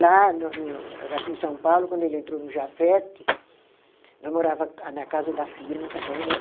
Lá, no no, daqui em São Paulo, quando ele entrou no Jafet, nós morava a na casa da firma também, né?